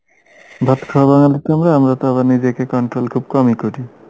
বাঙালি তো আমরা আমরা তো আবার নিজেকে control খুব কমই করি